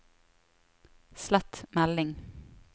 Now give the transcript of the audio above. slett melding